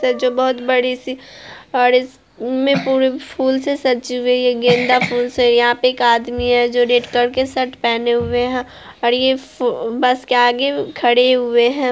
जो बहुत बड़ी-सी और इसमें पूरे फूल से सजी हुई है गेंदा फूल से | यहां पे एक आदमी है जो रेड कलर के शर्ट पहने हुए हैं और ये ब बस के आगे खड़े हुए हैं।